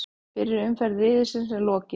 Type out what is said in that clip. Fyrri umferð riðilsins er lokið